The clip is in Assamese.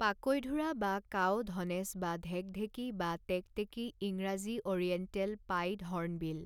পাকৈঢোৰা বা কাও ধনেশ বা ঢেকঢেকী বা টেকটেকী ইংৰাজী অ'ৰিয়েণ্টেল পাইড হৰ্ণবিল